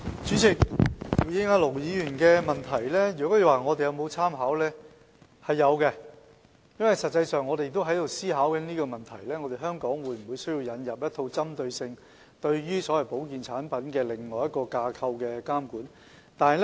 主席，回應盧議員的補充質詢，他問及我們有否參考，有的，實際上我們亦在思考香港有沒有需要引入一套針對所謂保健產品的監管架構。